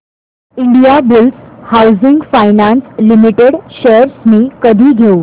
Indiabulls housing finance limited shares मी कधी घेऊ